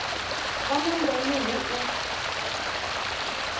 vha na ndeme hu u